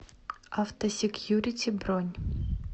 автосекьюрити бронь